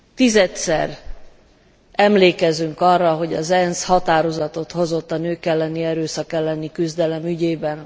Tizedszer emlékezünk arra, hogy az ENSZ határozatot hozott a nők elleni erőszak elleni küzdelem ügyében.